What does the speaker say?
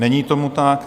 Není tomu tak.